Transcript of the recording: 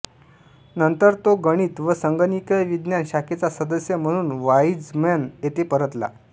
नंतर तो गणित व संगणकीय विज्ञान शाखेचा सदस्य म्हणून वाईझमन येथे परतला